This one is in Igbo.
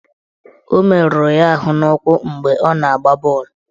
Ọ meruru ahụ n'ụkwụ mgbe ọ na-agba bọọlụ.